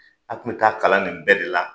A kun be taa kalan nin bɛɛ de la